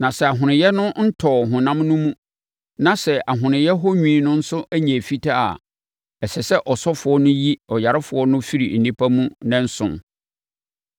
Na sɛ ahonoeɛ no ntɔɔ honam no mu na sɛ ahonoeɛ hɔ nwi no nso nyɛɛ fitaa a, ɛsɛ sɛ ɔsɔfoɔ no yi ɔyarefoɔ no firi nnipa mu nnanson.